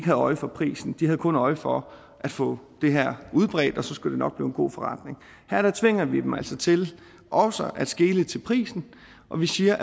havde øje for prisen de havde kun øje for at få det udbredt og så skulle det nok blive en god forretning her tvinger vi dem altså til også at skele til prisen og vi siger